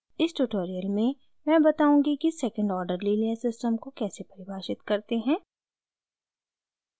इस ट्यूटोरियल में मैं बताऊँगी कि secondorder linear system को कैसे परिभाषित करते हैं